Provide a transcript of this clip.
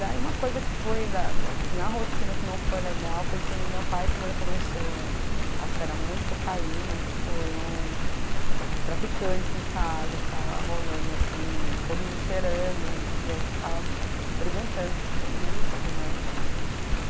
Daí uma coisa que foi, da da na rotina que não foi legal, foi que meu pai, como ele começou a a cheirar muita cocaína, tipo, iam traficantes em casa, ficava rolando assim, todo mundo cheirando, e eu ficava perguntando, o que que é isso, né?